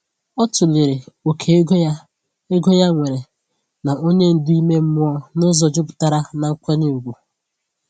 O tụlere oke ego ya ego ya nwere na onye ndu ime mmụọ n’ụzọ jupụtara n’nkwanye ùgwù.